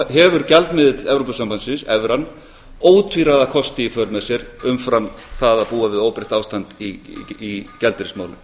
hefur gjaldmiðill evrópusambandinu evran ótvíræða kosti í för með sér umfram það að búa við óbreyttatriði í gjaldeyrismálum